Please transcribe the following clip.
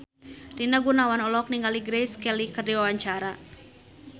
Rina Gunawan olohok ningali Grace Kelly keur diwawancara